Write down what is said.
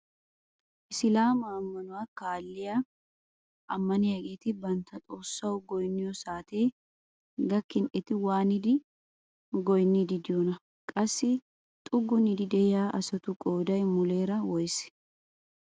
Isilaama ammanuwaa kaalliyaa ammaniyaageti bantta xoossawu goyniyoo saatee gaakin eti waanidi goyniidi de'iyoonaa? Qassi xuggunidi de'iyaa asatu qooday muleera woysee?